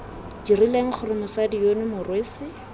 dirileng gore mosadi yono morwesi